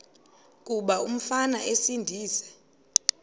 kuba umfana esindise